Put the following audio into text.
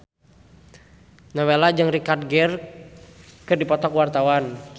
Nowela jeung Richard Gere keur dipoto ku wartawan